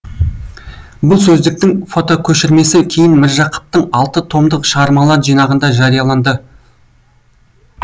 бұл сөздіктің фотокөшірмесі кейін міржақыптың алты томдық шығармалар жинағында жарияланды